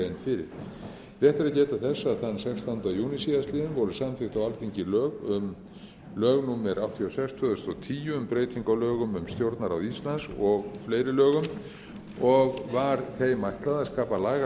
þann sextánda júní síðastliðinn voru samþykkt á alþingi lög númer áttatíu og sex tvö þúsund og tíu um breytingu á lögum um stjórnarráð íslands og fleiri lögum og var þeim ætlað að skapa lagalega